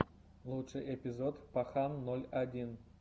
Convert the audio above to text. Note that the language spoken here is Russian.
лучший эпизод пахан ноль один